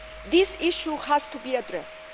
This issue has to be addressed.